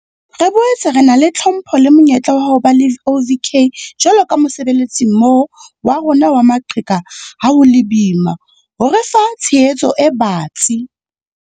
Re boetse re na le tlhompho le monyetla wa ho ba le OVK jwalo ka mosebetsimmoho wa rona wa maqheka ha ho le boima ho re fa tshehetso e batsi.